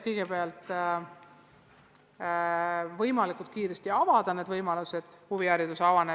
Kõigepealt on võimalikult kiiresti vaja sportimisvõimalused uuesti avada.